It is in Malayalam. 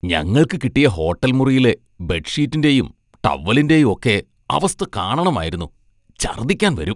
ഞങ്ങൾക്ക് കിട്ടിയ ഹോട്ടൽ മുറിയിലെ ബെഡ്ഷീറ്റിൻ്റെയും ടവലിൻ്റെയും ഒക്കെ അവസ്ഥ കാണണമായിരുന്നു, ഛർദ്ദിക്കാൻ വരും.